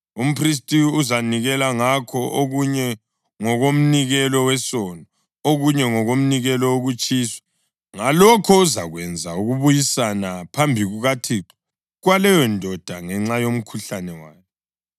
Umphristi uzanikela ngakho; okunye ngokomnikelo wesono, okunye ngokomnikelo wokutshiswa. Ngalokho, uzakwenza ukubuyisana phambi kukaThixo kwaleyondoda ngenxa yomkhuhlane wayo.